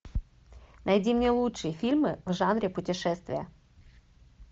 найди мне лучшие фильмы в жанре путешествия